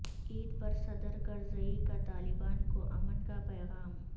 عید پر صدر کرزئی کا طالبان کو امن کا پیغام